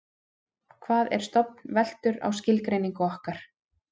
hvað er stofn veltur á skilgreiningu okkar